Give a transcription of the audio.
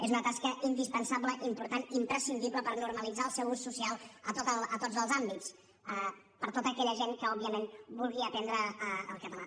és una tasca indispensable important imprescindible per normalitzar el seu ús social a tots els àmbits per a tota aquella gent que òbviament vulgui aprendre el català